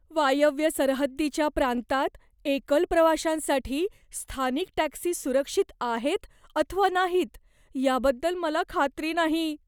वायव्य सरहद्दीच्या प्रांतात एकल प्रवाश्यांसाठी स्थानिक टॅक्सी सुरक्षित आहेत अथवा नाहीत याबद्दल मला खात्री नाही.